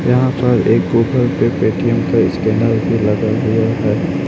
यहां पर एक ऊपर पे पेटीएम का स्कैनर भी लगा हुआ है।